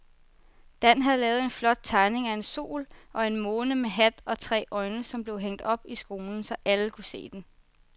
Dan havde lavet en flot tegning af en sol og en måne med hat og tre øjne, som blev hængt op i skolen, så alle kunne se den.